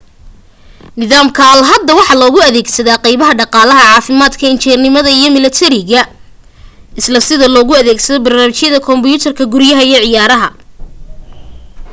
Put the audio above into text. nidaamka ai hadda waxa looga adeegsada qaybaha dhaqaalaha caafimaadka injineernimada iyo mallatariga isla sida loogu adeegsado barnaamijyada kumbiyuutarada guryaha iyo ciyaaraha